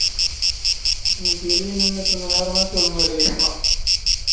ச் இன்னிக்கு வெளிய நின்னுட்டு இருந்தா நேரமாச்சு ஒழுங்கா எழுதிருக்கலாம்